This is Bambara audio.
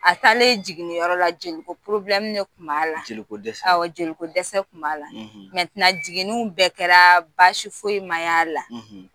A taalen jiginniyɔrɔ la jeliko de kun b'a la jeliko dɛsɛ, jeliko dɛsɛ kun b'a la jigininiw bɛɛ kɛra basi fosi ma y'a la